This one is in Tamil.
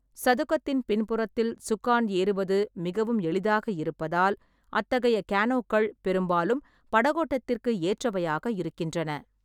சதுக்கத்தின் பின்புறத்தில் சுக்கான் ஏறுவது மிகவும் எளிதாக இருப்பதால், அத்தகைய கேனோக்கள் பெரும்பாலும் படகோட்டத்திற்கு ஏற்றவையாக இருக்கின்றன.